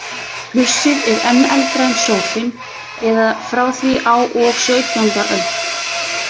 Plussið er enn eldra en sófinn eða frá því á og sautjánda öld.